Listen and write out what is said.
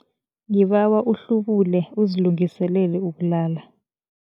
Ngibawa uhlubule uzilungiselele ukulala.